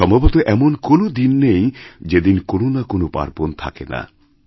সম্ভবত এমন কোনও দিন নেই যেদিন কোনো না কোনো পার্বণ থাকে না